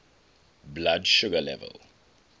blood sugar level